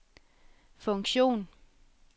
funktion